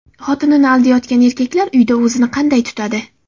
Xotinini aldayotgan erkaklar uyda o‘zini qanday tutadi?